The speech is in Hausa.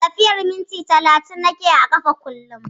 Tafiyar minti talatin nake yi a ƙafa kullum